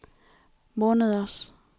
måneders